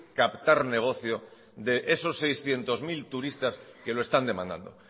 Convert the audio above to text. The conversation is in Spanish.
captar negocia de esos seiscientos mil turistas que lo están demandando